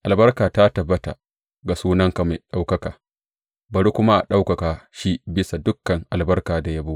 Albarka ta tabbata ga sunanka mai ɗaukaka, bari kuma a ɗaukaka shi bisa dukan albarka da yabo.